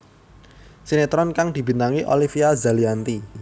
Sinetron kang dibintangi Olivia Zalianty